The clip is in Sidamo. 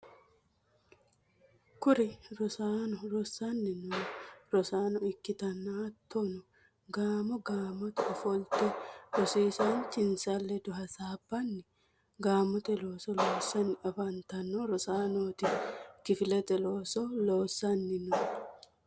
kuri roso rossanni noo rosaano ikkitanna hattonni gaamo gaamote ofolite rosiisaanchinsa ledo hasaabbanni gaamote looso loossanni afantanno rosanooti. kifilete looso loosanni no.